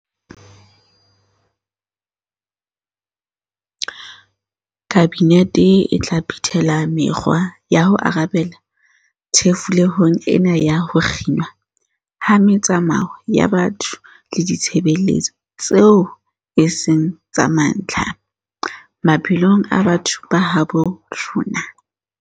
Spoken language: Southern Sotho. Kabinete e tla phethela me-kgwa ya ho arabela thefulehong ena ya ho kginwa ha metsamao ya batho le ditshebeletso tseo e seng tsa mantlha, maphelong a batho ba habo rona.